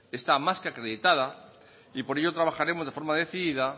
está más que acreditada y por ello trabajaremos de forma decidida